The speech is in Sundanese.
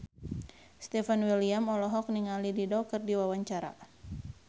Stefan William olohok ningali Dido keur diwawancara